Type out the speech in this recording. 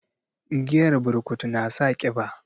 Giyar burkutu na sa kiba